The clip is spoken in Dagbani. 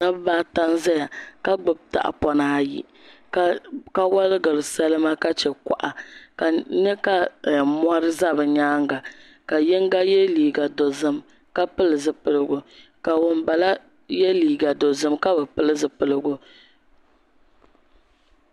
Dabba ata n ʒɛya ka gbubi tahapona ayi ka woligiri salima ka chɛ kuɣa ka n nyɛ ka mori ʒɛ bi nyaanga ka yinga yɛ liiga dozim ka pili zipiligu ka ŋunbala yɛ liiga dozim ka bi pili zipiligu